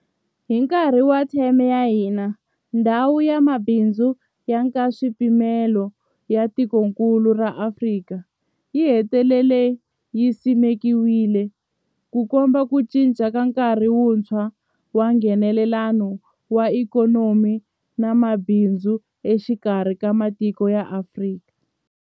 Hi nkarhi wa theme ya hina, Ndhawu ya Mabindzu ya Nkaswipimelo ya Tikokulu ra Afrika, AfCFTA yi hetelele yi simekiwile, Ku komba ku cinca ka nkarhi wuntshwa wa Nghenelelano wa ikhonomi na mabindzu exikarhi ka matiko ya Afrika.